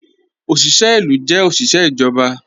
Ọ̀ṣiṣẹ ilu jẹ́ ọ̀ṣiṣẹ ijọba